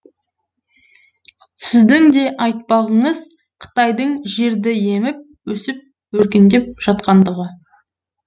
сіздің де айтпағыңыз қытайдың жерді еміп өсіп өркендеп жатқандығы